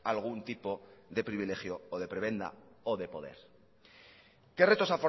algún tipo de privilegio o de prebenda o de poder que retos